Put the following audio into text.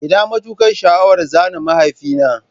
Ina matukar sha'awar zana mahaifina